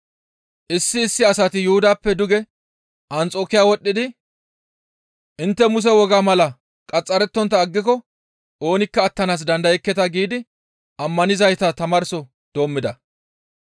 Issi issi asati Yuhudappe duge Anxokiya wodhdhidi, «Intte Muse wogaa mala qaxxarettontta aggiko oonikka attanaas dandayekketa» giidi ammanizayta tamaarso doommida.